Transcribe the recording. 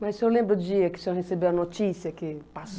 Mas o senhor lembra o dia que o senhor recebeu a notícia que